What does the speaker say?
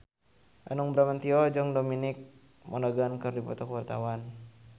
Hanung Bramantyo jeung Dominic Monaghan keur dipoto ku wartawan